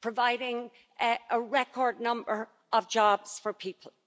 providing a record number of jobs for people